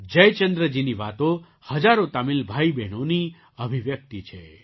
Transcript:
જયચંદ્રજીની વાતો હજારો તમિલ ભાઈબહેનોની અભિવ્યક્તિ છે